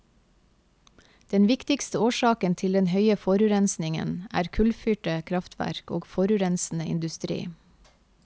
Den viktigste årsaken til den høye forurensningen, er kullfyrte kraftverk og forurensende industri.